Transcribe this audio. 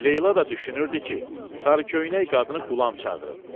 Leyla da düşünürdü ki, sarıköynək qadını Qulam çağırıb.